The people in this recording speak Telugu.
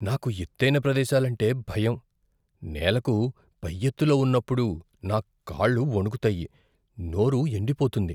నాకు ఎత్తైన ప్రదేశాలంటే భయం. నేలకు పై ఎత్తులో ఉన్నప్పుడు నా కాళ్ళు వణుకుతాయి, నోరు ఎండిపోతుంది.